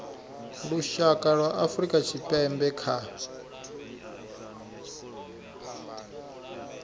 lushaka lwa afrika tshipembe kha